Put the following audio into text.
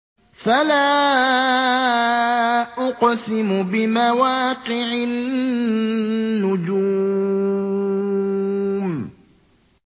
۞ فَلَا أُقْسِمُ بِمَوَاقِعِ النُّجُومِ